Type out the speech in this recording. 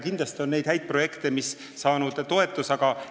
Kindlasti on ka neid häid projekte, mis on toetust saanud.